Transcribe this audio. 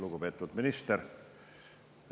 Lugupeetud minister!